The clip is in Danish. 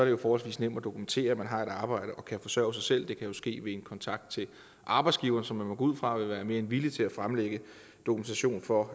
jo forholdsvis nemt at dokumentere at man har et arbejde og kan forsørge sig selv det kan ske via en kontakt til arbejdsgiveren som man må gå ud fra vil være mere end villig til at fremlægge dokumentation for